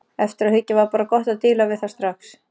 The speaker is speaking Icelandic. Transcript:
Eftir á að hyggja var bara gott að díla við það strax.